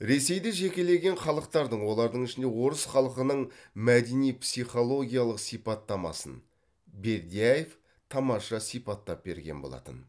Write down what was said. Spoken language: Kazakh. ресейде жекелеген халықтардың олардың ішінде орыс халқының мәдени психологиялық сипаттамасын бердяев тамаша сипаттап берген болатын